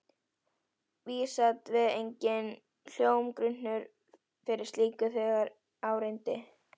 Vísast var enginn hljómgrunnur fyrir slíku, þegar á reyndi.